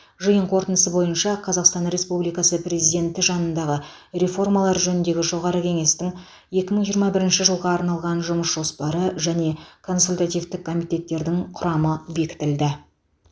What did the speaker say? жиын қорытындысы бойынша қазақстан республикасы президенті жанындағы реформалар жөніндегі жоғары кеңестің екі мың жиырма бірінші жылға арналған жұмыс жоспары және консультативтік комитеттердің құрамы бекітілді